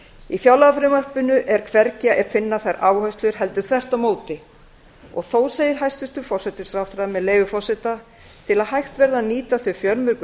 í fjárlagafrumvarpinu er hvergi að finna þær áherslur heldur þvert á móti þó segir hæstvirtur forsætisráðherra með leyfi forseta til að hægt verði að nýta þau fjölmörgu